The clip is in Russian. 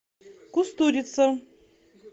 кустурица